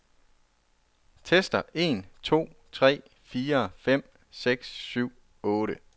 Tester en to tre fire fem seks syv otte.